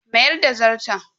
Mayar da Zarton.